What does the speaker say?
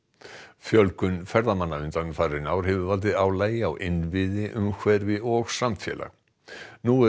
fjölgun ferðamanna undanfarin ár hefur valdið álagi á innviði umhverfi og samfélag nú er